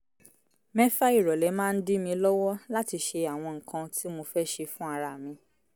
mẹ́fà ìrọ̀lẹ́ máa ń dí mi lọ́wọ́ láti ṣe àwọn nǹkan tí mo fẹ́ ṣe fún ara mi